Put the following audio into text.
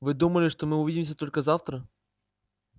вы думали что мы увидимся только завтра